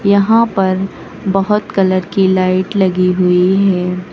यहां पर बहोत कलर की लाइट लगी हुई है।